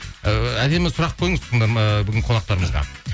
әдемі сұрақ қойыңыз ыыы бүгінгі қонақтарымызға